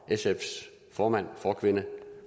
sfs formand forkvinde